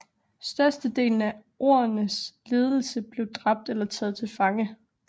Størstedelen af Ordenens ledelse blev dræbt eller taget til fange